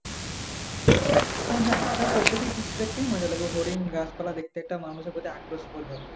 হ্যাঁ হ্যাঁ একটা প্রাকৃতিক দৃশ্য দেখতেই মজা লাগে হরিণ গাছপালা দেখতে একটা মানুষের কত বোধ হয়